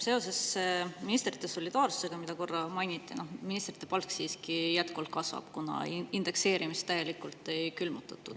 Seoses ministrite solidaarsusega, mida korra mainiti: ministrite palk siiski jätkuvalt kasvab, kuna indekseerimist täielikult ei külmutatud.